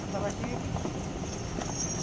Na Tabatinga que tinha.